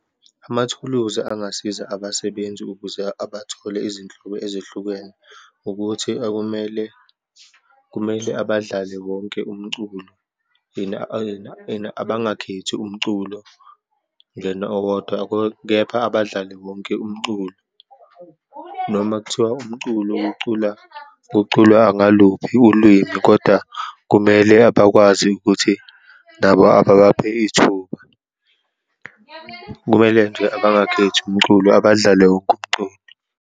Amathuluzi angasiza abasebenzi ukuze abathole izinhlobo ezehlukene, ukuthi okumele, kumele abadlale wonke umculo and and abangakhethi umculo then owodwa, kepha abadlale wonke umculo, noma kuthiwa umculo ukucula, kuculwa ngaluphi ulwimi kodwa kumele abakwazi ukuthi nabo ababaphe ithuba. Kumele nje bangakhethi umculo, abadlale wonke umculo.